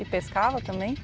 E pescava também?